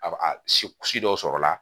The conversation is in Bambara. A ba a si dɔw sɔrɔla